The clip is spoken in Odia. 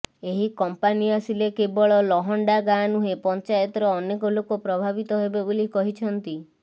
ଏହି କମ୍ପାନୀ ଆସିଲେ କେବଳ ଲହଣ୍ଡା ଗାଁ ନୁହେଁ ପଂଚାୟତର ଅନେକ ଲୋକ ପ୍ରଭାବିତ ହେବେ ବୋଲି କହିଛନ୍ତି